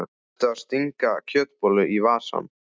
Ertu að stinga kjötbollu í vasann?